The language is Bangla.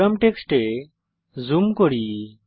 প্রোগ্রাম টেক্সটে জুম করি